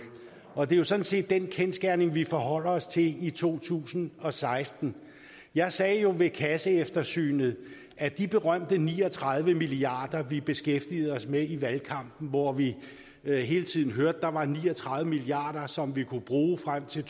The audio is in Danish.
og det er jo sådan set den kendsgerning vi forholder os til i to tusind og seksten jeg sagde ved kasseeftersynet at de berømte ni og tredive milliard kr vi beskæftigede os med i valgkampen hvor vi vi hele tiden hørte at der var ni og tredive milliard kr som vi kunne bruge frem til